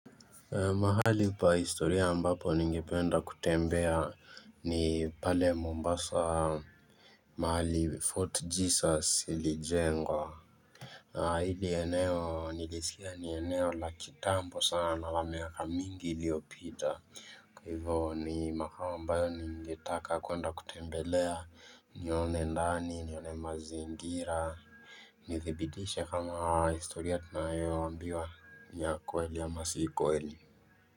Mahali pa historia ambapo ningependa kutembea ni pale Mombasa mahali Fort Jesus ili jengwa Hili eneo nilisikia ni eneo la kitambo sana la miaka mingi iliopita Hivo ni mahali ambayo ningetaka kuenda kutembelea nione ndani nione mazingira Nidhibitishe kama historia tunayo ambiwa ni ya ukweli ama sikweli.